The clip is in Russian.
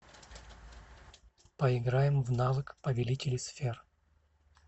поиграем в навык повелители сфер